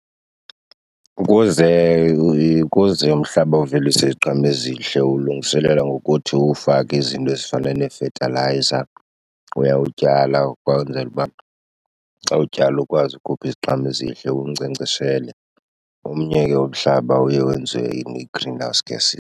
Ukuze ukuze umhlaba uvelise iziqhamo ezihle uwulungiselela ngokuthi uwufake izinto ezifana nefetalayiza. Uyawutyala ukwenzela uba xa utyala ukwazi ukhupha iziqhamo ezihle, uwunkcenkceshele. Omnye ke umhlaba uye wenziwe ne-greenhouse gas.